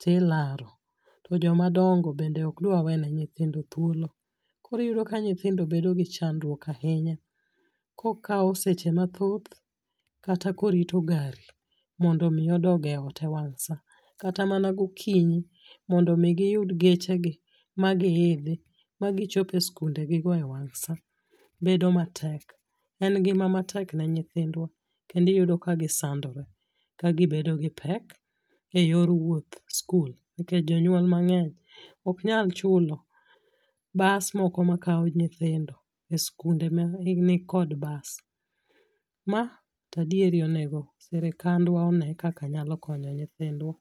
Tilaro. To joma dongo to bende ok dwa wene nyithindo thuolo. Koro iyudo ka nyithindo bedo gi chandruok ahinya kokaw seche mathoth kata korito gari mondo mi odog e ot e wang' sa. Kata mana gokinyi mondo mi guyud geche gi magi idhi magichope skunde gi go e wang' sa. Bedo matek. En ngima matek ne nyithindwa kendo iyudo ka gisandore kagibedo gi pek eyor wuoth skul nikech jonyuol mang'eny ok nyal chulo bas moko makaw nyithindo e skunde ma ni kod bas. Ma to adieri onego sirikandwa one kaka nyalo konyo nyithindwa.